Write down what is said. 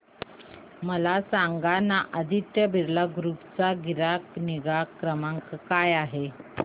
मला सांगाना आदित्य बिर्ला ग्रुप चा ग्राहक निगा क्रमांक काय आहे